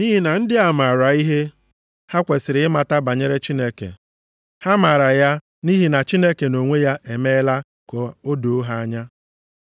Nʼihi na ndị a maara ihe ha kwesiri ịmata banyere Chineke. Ha maara ya nʼihi na Chineke nʼonwe ya emeela ka o doo ha anya.